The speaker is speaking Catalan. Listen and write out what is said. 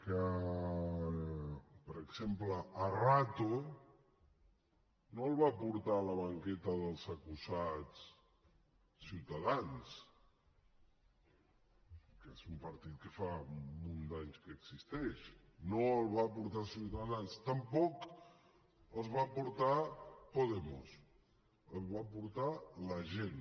que per exemple a rato no el va portar a la banqueta dels acusats ciutadans que és un partit que fa un munt d’anys que existeix no el va portar ciutadans tampoc el va portar podemos el va portar la gent